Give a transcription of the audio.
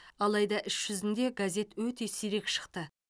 алайда іс жүзінде газет өте сирек шықты